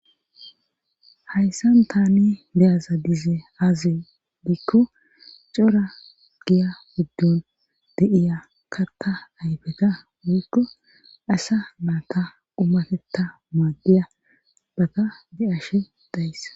hayssan tani beyaza dize aazi diikko cora giya guddon de7iya karta ayfeta woykko asa maata umatetta maaddiya bakka bi7ashe dayss